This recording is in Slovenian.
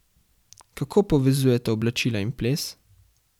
Kako povezujeta oblačila in ples?